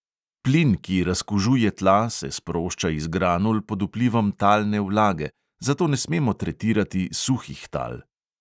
Plin, ki razkužuje tla, se sprošča iz granul pod vplivom talne vlage, zato ne smemo tretirati suhih tal.